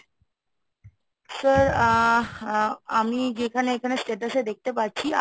sir আ আমি যেখানে এখানে status এ দেখতে পাচ্ছি